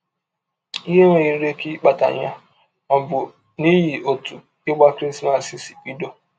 Ihe nwere ike ịkpata ya ọ̀ bụ n’ihi ọtụ ịgba Krismas sị bidọ?